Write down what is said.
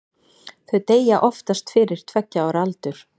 þau deyja oftast fyrir tveggja ára aldur